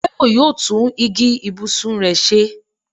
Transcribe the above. Táíwò yóò tún igi ibùsùn rẹ̀ ṣe